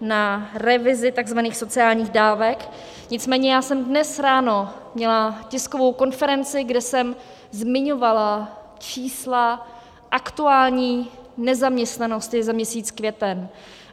na revizi tzv. sociálních dávek, nicméně já jsem dnes ráno měla tiskovou konferenci, kde jsem zmiňovala čísla aktuální nezaměstnanosti za měsíc květen.